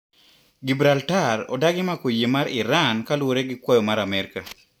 Gibraltar odagi mako yie mar Iran kalure gi kwayo mar Amerika.